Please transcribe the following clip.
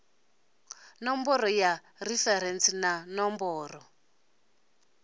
ṋomboro ya referentsi na ṋomboro